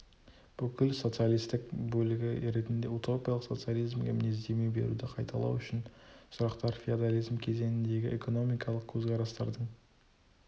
бүкіл социалистік бөлігі ретінде утопиялық социализмге мінездеме беруді қайталау үшін сұрақтар феодализм кезеніндегі экономикалық көзқарастардың